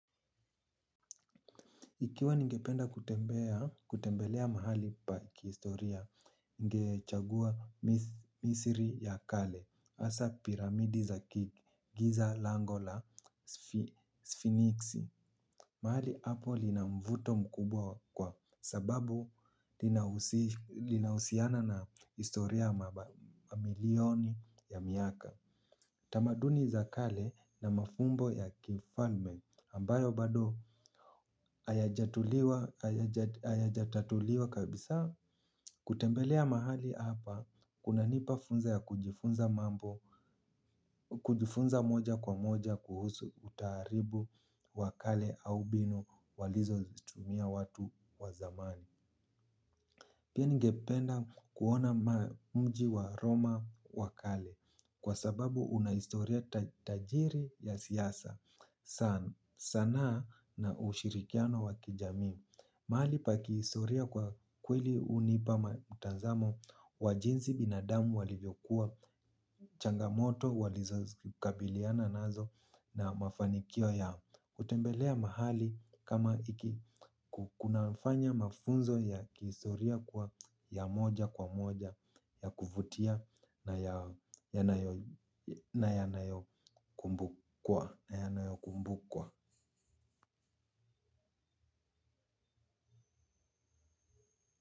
Ikiwa ningependa kutembelea mahali pa kistoria, ningechagua misiri ya kale, hasa piramidi za giza lango la sphenixi. Mahali hapo lina mvuto mkubwa kwa sababu linahusiana na historia mamilioni ya miaka. Tamaduni za kale na mafumbo ya kifalme ambayo bado hayajatatuliwa kabisa kutembelea mahali hapa kuna nipa funza ya kujifunza moja kwa moja kuhusu utaaribu wa kale au bino walizo tumia watu wa zamani. Pia ningependa kuona ma mji wa Roma wakale kwa sababu unahistoria tajiri ya siasa sana sanaa na ushirikiano wa kijamii. Mahali pa ki historia kwa kweli hunipa mtazamo wa jinsi binadamu walivyokuwa changamoto walizokabiliana nazo na mafanikio ya utembelea mahali kama iki kunafanya mafunzo ya kihistoria kuwa ya moja kwa moja ya kuvutia na yanayo yanayo kumbukwa.